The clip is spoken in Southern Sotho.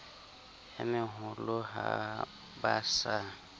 e meholo ha ba sa